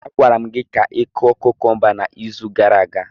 A gwara m gi ka ịkụ kukumba n'izu gara aga.